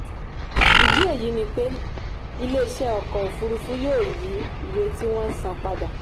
ìdí èyí ni pé iléeṣẹ́ ọkọ̀ òfuurufú yóò yí iye tí wọ́n san padà.